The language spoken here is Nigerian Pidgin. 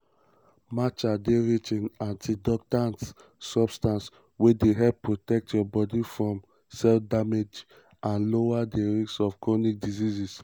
matcha dey rich in antioxidants – substances wey dey help protect your body from cell damage and lower di risk of chronic diseases.